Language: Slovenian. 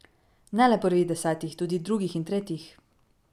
Ne le prvih desetih, tudi drugih in tretjih.